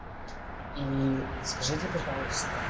и скажите пожалуйста